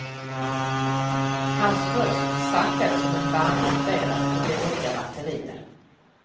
Hans röst sackade som en bandspelare på dåliga batterier.